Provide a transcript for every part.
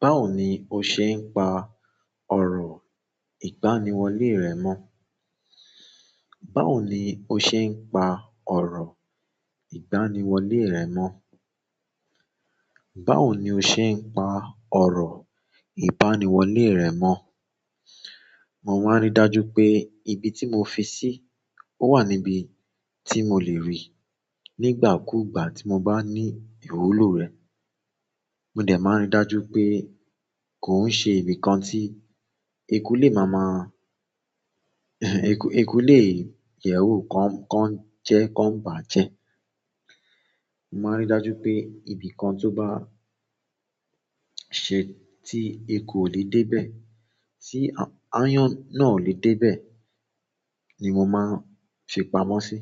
Báwo ni o ṣe ń pa ọ̀rọ̀ ìgbaniwọlé rẹ mọ́? Báwo ni o ṣe ń pa ọ̀rọ̀ ìgbaniwọlé rẹ mọ́? Báwo ni o ṣe ń pa ọ̀rọ̀ ìgbaniwọlé rẹ mọ́? Mo máa ń rí dájú pé ibi tí mo fi sí, ó wà níbi tí mo lè rí i nígbà kú ìgbà tí mo bá ní ìwúlò rẹ̀. Mo dẹ̀ máa ń rí dájú pé kò ń ṣe ibi kan tí eku lè máa máa-- eku, eku lè yẹ̀wò, kó ń jẹ́, kó ń bàjẹ́. Mo máa ń rí dájú pé ibi kan tó bá ṣe tí eko ò lè dé bẹ́ẹ̀, tí aáyán náà ò lè dé bẹ́ẹ̀ ni mo máa ń fi pamọ́ sí.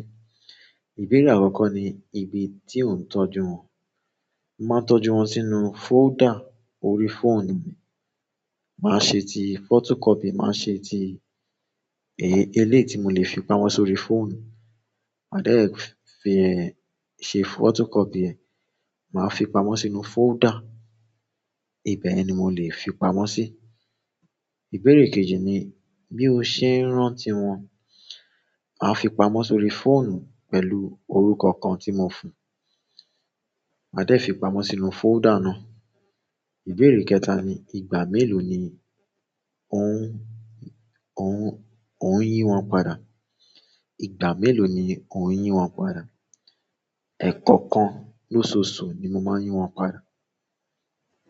Ìbéèrè àkọ́kọ́ ni: Ibi tí ò ń tọ́jú wọn? Mo máa n tọ́jú wọn si inú folder orí fóònù mi, máa ṣe ti photocopy, máa ṣe ti eléyìí ti mo le fi pamọ́ sórí fóònù. Màá dẹ̀ fi ẹ ṣe fótókọ́pì ẹ. Màá fi pamọ́ sínú fóldà. Ibẹ̀ ni mo lè fi pamọ́ sí. Ìbéèrè kejì ni bi o se n rántí wọn ma fi pamọ́ sórí fóònù pẹ̀lú orúkọ kan tí mo fún. Màá dẹ̀ fi pamọ́ sínú folder náà. Ìbéèrè kẹta ni: Igba mélòó ni ò ń yín wọn padà? Ìgbà mélòó ni ò ń yín wọn padà? Ẹ̀ẹ̀kọ̀kan lóṣooṣù ni mo máa ń yín wọn padà.